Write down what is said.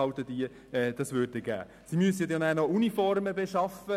Wenn sie selber Bussen erheben möchten, müssten sie auch noch Uniformen beschaffen.